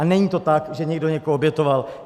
A není to tak, že někdo někoho obětoval.